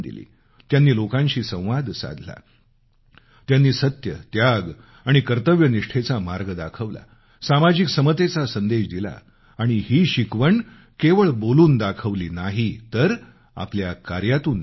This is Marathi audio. त्यांनी लोकांशी संवाद साधला त्यांनी सत्य त्याग आणि कर्तव्यनिष्ठेचा मार्ग दाखवला सामाजिक समतेचा संदेश दिला आणि ही शिकवण केवळ बोलून दाखवली नाही तर आपल्या काऱ्यातून दाखवली